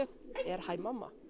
hæ mamma